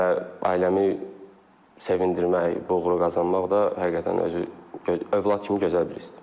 Və ailəmi sevindirmək, bu uğuru qazanmaq da həqiqətən özü övlad kimi gözəl bir hissdir.